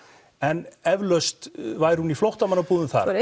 en eflaust væri hún í flóttamannabúðum þar